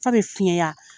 Fa bɛ fiɲɛ